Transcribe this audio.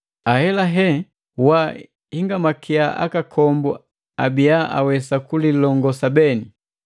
Ahelahe wahingamakia akakombu abia awesa kulilongosa beni.